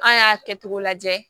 An y'a kɛtogo lajɛ